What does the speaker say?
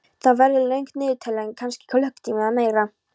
Það verður löng niðurtalning, kannski klukkutími eða meira.